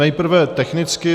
Nejprve technicky.